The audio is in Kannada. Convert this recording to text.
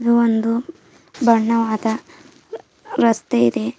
ಹಾಗು ಒಂದು ಬಣ್ಣವಾದ ರಸ್ತೆ ಇದೆ.